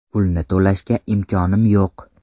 Pulni to‘lashga imkonim yo‘q.